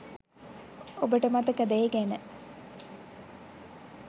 ඔබට මතකද ඒ ගැන